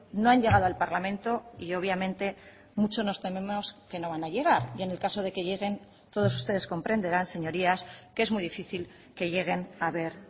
no han llegado al parlamento y obviamente mucho nos tememos que no van a llegar y en el caso de que lleguen todos ustedes comprenderán señorías que es muy difícil que lleguen a ver